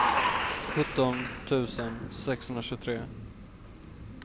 sjutton tusen sexhundratjugotre